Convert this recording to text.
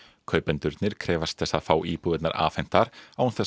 kaupendurnir krefjast þess að fá íbúðirnar afhentar án þess